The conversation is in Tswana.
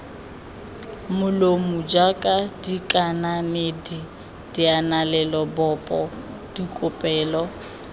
molomo jaaka dikanedi dianelalebopo dikopelo